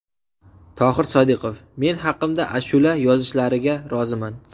Tohir Sodiqov: Men haqimda ashula yozishlariga roziman.